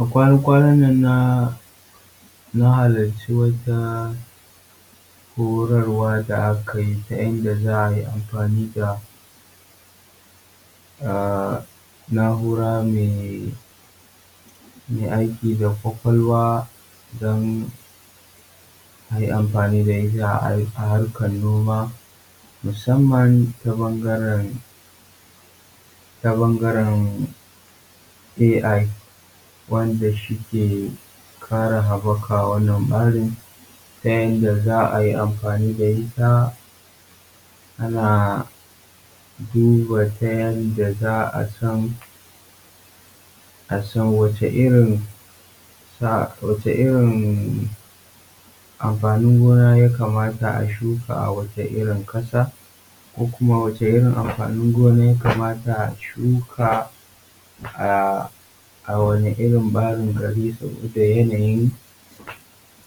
A kwana kwanan nan na na halarci wata horarwa da aka yi na yadda za a yi amfani da um na’ura mai aiki da kwakwalwa don harkan noma musamman ta bangaren ta bangaren ai, wanda shi ke kara ta yadda za ayi amfani da ita a duba ta yadda za a san a san wace irin sa wace irin amfanin gona ya kamata a shuka a wace irin kasa ko kuma wace irin amfanin gona ya kamata a shuka a wani irin barin gari da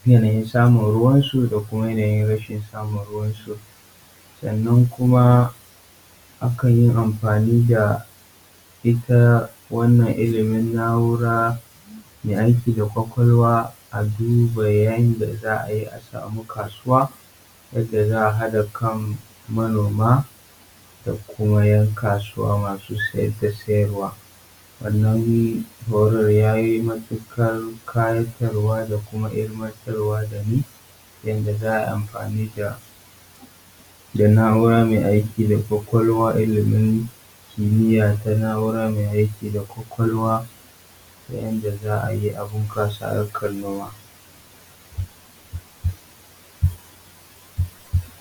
yanayin samun ruwansu da kuma yanayin rashin samun ruwansu. Sannan kuma a kan yi amfani da ita wannan na’ura mai aiki da kwakwalwa a duba yanda za a yi a samu kasuwa a duba yanda za a hada kan manoma da kuma ‘yan kasuwa masu siya da siyarwa. Wannan horarwa ya yi matukar burgewa ta yadda za a yi amfani da naura mai aiki da kwakwalwa ta yanda za a yi a bunkasa harkan noma.